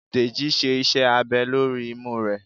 Dejí sé iṣẹ abè lorí imú re